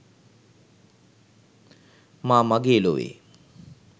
මා මගේ ලොවේ